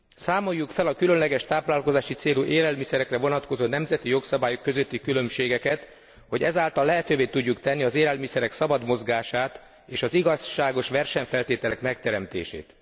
Számoljuk fel a különböző táplálkozási célú élelmiszerekre vonatkozó nemzeti jogszabályok közötti különbségeket, hogy ezáltal lehetővé tudjuk tenni az élelmiszerek szabad mozgását és az igazságos versenyfeltételek megteremtését.